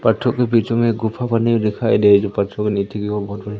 पत्तों के बीच में एक गुफा बनी हुई दिखाई दे है।